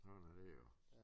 Sådan er det jo